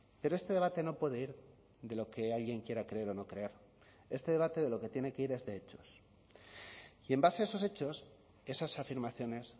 pero este debate no puede ir de lo que alguien quiera creer o no creer este debate de lo que tiene que ir es de hechos y en base a esos hechos esas afirmaciones